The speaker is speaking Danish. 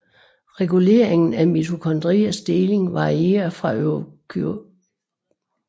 Reguleringen af mitokondriers deling varierer fra eukaryot til eukaryot